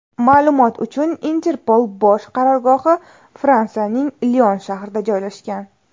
Ma’lumot uchun, Interpol bosh qarorgohi Fransiyaning Lion shahrida joylashgan.